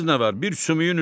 Bilirsiz nə var?